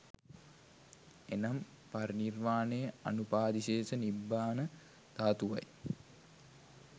එනම් පරිනිර්වාණය අනුපාදිසේස නිබ්බාන ධාතුව යි.